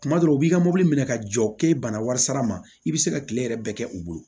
Tuma dɔw u b'i ka mobili minɛ ka jɔ k'i bana warisara ma i bɛ se ka kile yɛrɛ bɛɛ kɛ u bolo